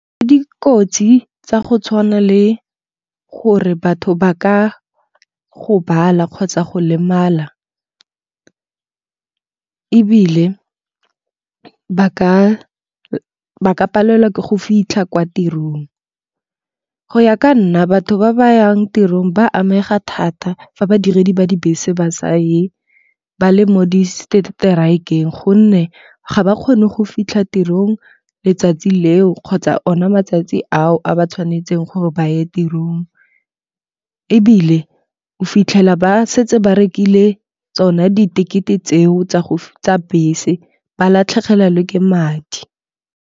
Dikotsi tsa go tshwana le gore batho ba ka gobala kgotsa go lemala ebile ba ka palelwa ke go fitlha kwa tirong. Go ya ka nna batho ba ba yang tirong ba amega thata fa badiredi ba dibese ba sa ye, ba le mo di-strike-eng gonne ga ba kgone go fitlha tirong letsatsi leo kgotsa o na matsatsi ao a ba tshwanetseng gore ba ye tirong. Ebile o fitlhela ba setse ba rekile tsona di-ticket-e tseo tsa bese, ba latlhegelwa le ke madi.